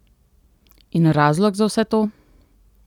In razlog za vse to?